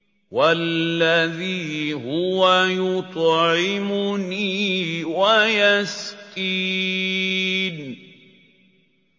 وَالَّذِي هُوَ يُطْعِمُنِي وَيَسْقِينِ